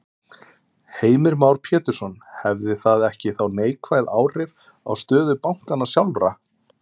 Heimir Már Pétursson: Hefði það ekki þá neikvæð áhrif á stöðu bankanna sjálfra?